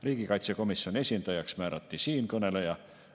Riigikaitsekomisjoni esindajaks määrati siinkõneleja.